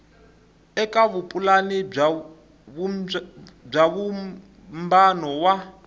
eka vupulani bya vumbano wa